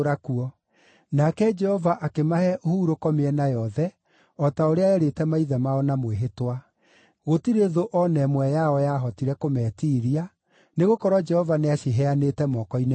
Nake Jehova akĩmahe ũhurũko na mĩena yothe o ta ũrĩa eerĩte maithe mao na mwĩhĩtwa. Gũtirĩ thũ o na ĩmwe yao yahotire kũmeetiiria, nĩgũkorwo Jehova nĩaciheanĩte moko-inĩ mao.